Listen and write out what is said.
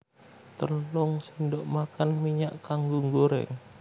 Telung sendok makan minyak kanggo nggoreng